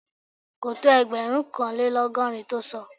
Kò tó ẹgbẹ̀rúnkanlélọ́gọ́rin tó sọ